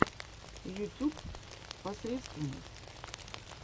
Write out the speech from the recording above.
ютьюб посредственность